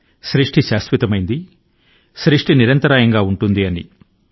సృజన శాశ్వతంగా ఉంటుంది సృజన నిరంతరాయం గా ఉంటుంది అని